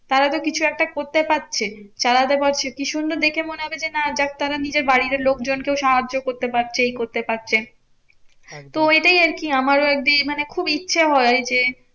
তারাতো কিছু একটা করতে পারছে চালাতে পারছে কি সুন্দর দেখে মনে হবে যে না যাক তারা নিজের বাড়িরও লোকজনকে সাহায্য করতে পারছে এই করতে পারছে। তো ওইটাই আরকি আমারও একদিন মানে খুব ইচ্ছে হয় যে